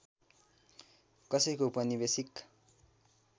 कसैको उपनिवेशिक